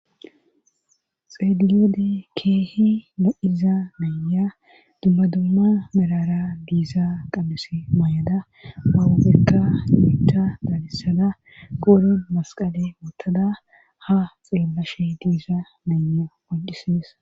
xeelilede keehi na7iza naya dubmadumma merara diiza qabes may7ada mawubekka nuita dalissada qorin masqale wottada ha xeellashe diiza naynya oncisidis